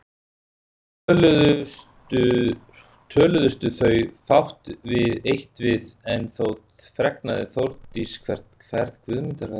Töluðustu þau fátt eitt við en þó fregnaði Þórdís hvert ferð Guðmundar væri heitið.